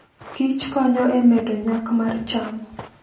kich konyo e medo nyak mar cham.